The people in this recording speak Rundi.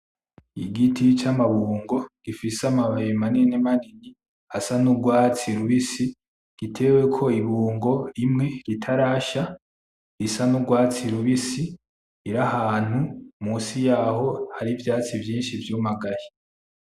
Igiti c'amabungo gifise amababi manini manini asa n'urwatsi rubisi giteweko ibungo, rimwe ritarasha risa n'urwatsi rubisi iri ahantu munsi yaho hari ivyatsi vyinshi vyumagaye.